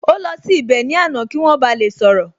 Ó lọ sí ibẹ̀ ní àná kí wọ́n ba lè sọ̀rọ̀